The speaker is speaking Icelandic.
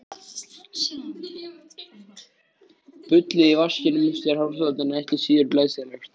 Sullið í vaskinum eftir hárþvottinn ekki síður glæsilegt.